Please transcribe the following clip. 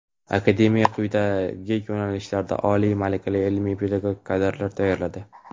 Akademiyada quyidagi yo‘nalishlarda oliy malakali ilmiy-pedagogik kadrlar tayyorlanadi:.